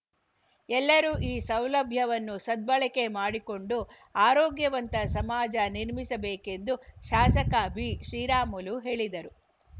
ಎಲ್ಲರೂ ಈ ಸೌಲಭ್ಯವನ್ನು ಸದ್ಬಳಕೆ ಮಾಡಿಕೊಂಡು ಆರೋಗ್ಯವಂತ ಸಮಾಜ ನಿರ್ಮಿಸಬೇಕೆಂದು ಶಾಸಕ ಬಿಶ್ರೀರಾಮುಲು ಹೇಳಿದರು